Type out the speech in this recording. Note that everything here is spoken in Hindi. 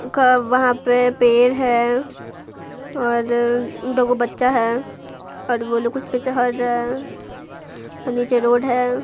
का वहां पे पेर है और दो बच्चा है और वो लोग कुछ रहा है और नीचे रोड है।